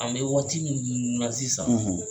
An bɛ waati minnu na sisan